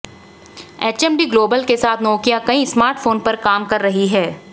HMD global के साथ Nokia कई स्मार्टफोन पर काम कर रही है